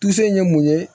ye mun ye